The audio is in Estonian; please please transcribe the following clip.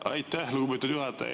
Aitäh, lugupeetud juhataja!